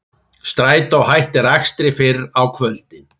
Strætó hættir akstri fyrr á kvöldin